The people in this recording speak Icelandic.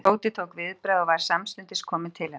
Tóti tók viðbragð og var samstundis kominn til hennar.